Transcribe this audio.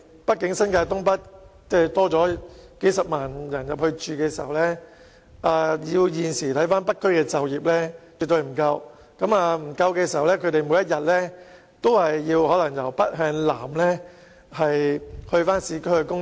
畢竟當新界東北增加數十萬人口後，以現時北區的就業情況，絕對不能提供足夠職位予新增人口，市民每天便要從北向南到市區工作。